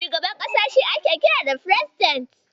Shugaban ƙasa shi ake kira Firesiden.